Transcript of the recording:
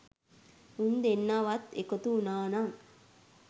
උන් දෙන්න වත් එකතු වුණා නම්